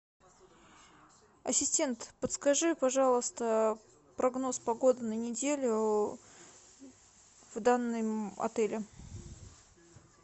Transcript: ассистент подскажи пожалуйста прогноз погоды на неделю в данном отеле